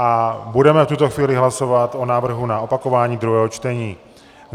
A budeme v tuto chvíli hlasovat o návrhu na opakování druhého čtení.